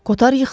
Kotar yıxıldı.